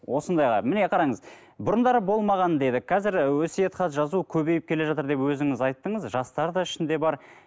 осындайға міне қараңыз бұрындары болмаған дедік қазір і өсиет хат жазу көбейіп келе жатыр деп өзіңіз айттыңыз жастар да ішінде бар